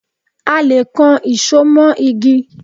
A le kan ìṣo mó igi.